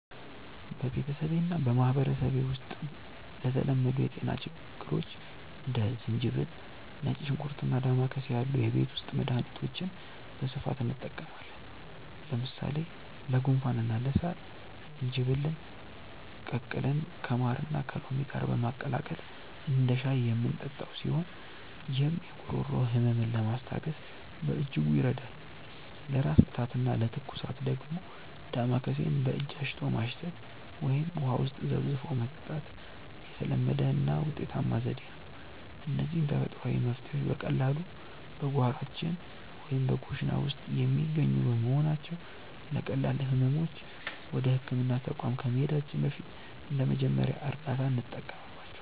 በቤተሰቤና በማኅበረሰቤ ውስጥ ለተለመዱ የጤና ችግሮች እንደ ዝንጅብል፣ ነጭ ሽንኩርትና ዳማከሴ ያሉ የቤት ውስጥ መድኃኒቶችን በስፋት እንጠቀማለን። ለምሳሌ ለጉንፋንና ለሳል ዝንጅብልን ቀቅለን ከማርና ከሎሚ ጋር በማቀላቀል እንደ ሻይ የምንጠጣው ሲሆን፣ ይህም የጉሮሮ ሕመምን ለማስታገስ በእጅጉ ይረዳል። ለራስ ምታትና ለትኩሳት ደግሞ ዳማከሴን በእጅ አሽቶ ማሽተት ወይም ውሃ ውስጥ ዘፍዝፎ መጠጣት የተለመደና ውጤታማ ዘዴ ነው። እነዚህ ተፈጥሯዊ መፍትሔዎች በቀላሉ በጓሯችን ወይም በኩሽና ውስጥ የሚገኙ በመሆናቸው፣ ለቀላል ሕመሞች ወደ ሕክምና ተቋም ከመሄዳችን በፊት እንደ መጀመሪያ እርዳታ እንጠቀምባቸዋለን።